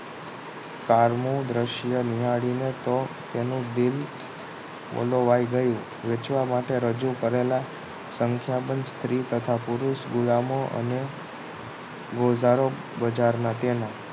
કાળમુ દ્રશ્ય નિહાળીને તો તેનું દિલ ઓલવાઈ ગયું વેચવા માટે રજૂ કરેલ સંખ્યાબંધ સ્ત્રી તથા પુરુષ ગુલામો અને ઓજારો બજાર માટેના તેના